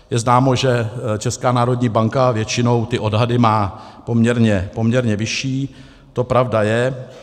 Je známo, že Česká národní banka většinou ty odhady má poměrně vyšší, to pravda je.